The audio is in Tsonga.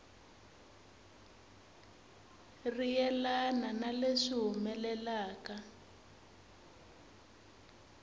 ri yelana na leswi humelelaka